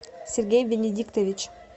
сергей бенедиктович